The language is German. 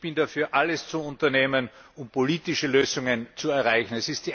Ich bin dafür, alles zu unternehmen, um politische Lösungen zu erreichen.